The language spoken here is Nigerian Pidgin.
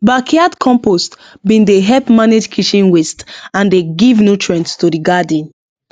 backyard compost bin dey help manage kitchen waste and dey give nutrient to the garden